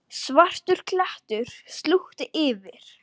Svartur klettur slútti yfir.